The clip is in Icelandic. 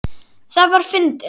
Það var fyndið.